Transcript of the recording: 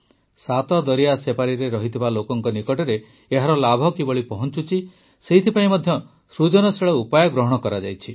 ସାତଦରିଆ ସେପାରିରେ ଥିବା ଲୋକଙ୍କ ନିକଟରେ ଏହାର ଲାଭ କିଭଳି ପହଂଚୁଛି ସେଥିପାଇଁ ମଧ୍ୟ ସୃଜନଶୀଳ ଉପାୟ ଗ୍ରହଣ କରାଯାଇଛି